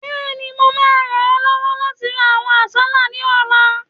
Bẹ́ẹ̀ni, mo máa ràn ọ́ lọ́wọ́ láti ra àwọn àsálà ní ọ̀la